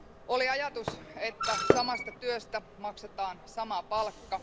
Oli ajatus, että samasta työstä maksetaan sama palkka.